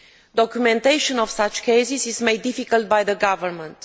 Documentation of such cases is made difficult by the government.